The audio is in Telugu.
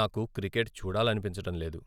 నాకు క్రికెట్ చూడాలనిపించడం లేదు.